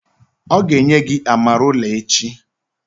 O ga enye gi amarula echi